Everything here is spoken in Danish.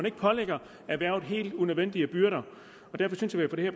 ikke pålægger erhvervet helt nødvendige byrder derfor synes jeg at vi